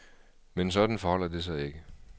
Men sådan forholder det sig ikke.